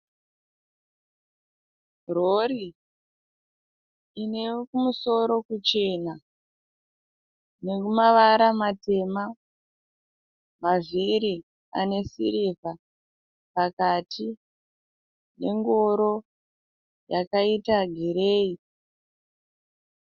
Rori ine kumusoro kuchena nemavara matema mavhiri ane sirivha pakati, nengoro yakaita gireyi.